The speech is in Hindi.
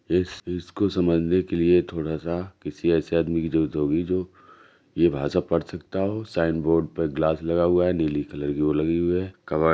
इस इसको समझने के लिए थोड़ा सा किसी ऐसे आदमी की जरुरत होगी जो ये भाषा पढ़ सकता हो साइन बोर्ड पर गिलास लगा हुआ है नीली कलर की वो लगी हुई है--